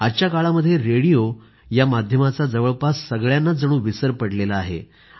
आजच्या काळामध्ये रेडिओ या माध्यमाचा जवळपास सगळ्यानांच जणू विसर पडला आहे